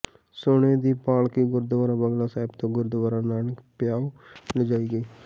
ਸੋਨੇ ਦੀ ਪਾਲਕੀ ਗੁਰਦੁਆਰਾ ਬੰਗਲਾ ਸਾਹਿਬ ਤੋਂ ਗੁਰਦੁਆਰਾ ਨਾਨਕ ਪਿਆਓ ਲਿਜਾਈ ਗਈ